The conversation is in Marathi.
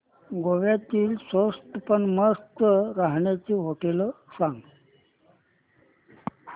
गोव्यातली स्वस्त पण मस्त राहण्याची होटेलं सांग